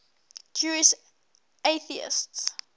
jewish atheists